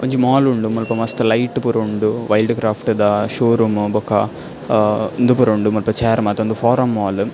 ಒಂಜಿ ಮಾಲ್ ಉಂಡು ಮುಲ್ಪ ಮಸ್ತ್ ಲೈಟ್ ಪುರ ಉಂಡು ವೈಲ್ಡ್ಕ್ರಾಫ್ಟ್ ದ ಶೋ ರೂಮ್ ಬೊಕ ಅಹ್ ಉಂದು ಪೂರ ಉಂಡು ಮುಲ್ಪ ಚೈರ್ ಮಾತ ಉಂದು ಫೋರಂ ಮಾಲ್ .